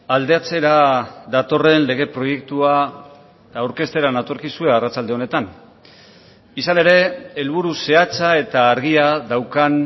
aldatzera datorren lege proiektua aurkeztera natorkizue arratsalde honetan izan ere helburu zehatza eta argia daukan